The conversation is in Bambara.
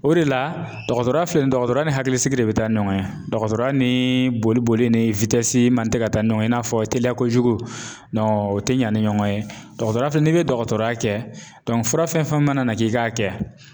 O de la dɔkɔtɔrɔ filɛ nin ye, dɔkɔtɔrɔya ni hakilisigi de bi taa ni ɲɔgɔn ye, dɔkɔtɔrɔya ni boli boli ni man tɛ ka taa ni ɲɔgɔn ye, i n'a fɔ teliya kojugu o ti ɲa ni ɲɔgɔn ye, dɔkɔtɔrɔ fɛnɛ n'i bi dɔkɔtɔrɔya kɛ fura fɛn fɛn mana na k'i k'a kɛ